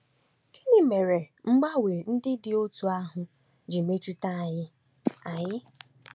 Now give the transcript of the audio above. Gịnị mere mgbanwe ndị dị otú ahụ ji metụta anyị? anyị?